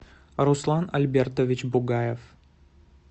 руслан альбертович бугаев